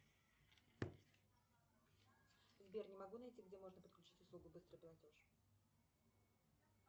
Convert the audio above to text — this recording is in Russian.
сбер не могу найти где можно подключить услугу быстрый платеж